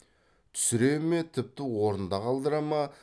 түсіре ме тіпті орнында қалдыра ма